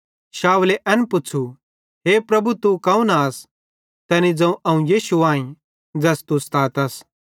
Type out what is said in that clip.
शाऊले एन पुच़्छ़ू हे प्रभु तू कौन आस तैनी ज़ोवं अवं यीशु आईं ज़ैस तू सतातस